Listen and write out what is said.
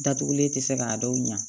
Datugulen tɛ se k'a dɔw ɲɛ